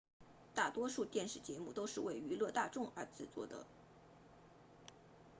大多数电视节目都是为娱乐大众而制作的